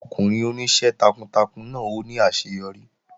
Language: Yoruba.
Ọkùnrin oníṣẹ́ takuntakun náà ó ní àṣeyọrí